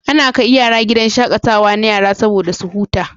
Ana kai yara gidan shaƙatawa na yara soboda su huta.